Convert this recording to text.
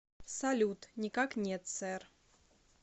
салют никак нет сэр